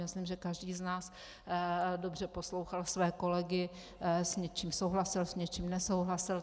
Myslím, že každý z nás dobře poslouchal své kolegy, s něčím souhlasil, s něčím nesouhlasil.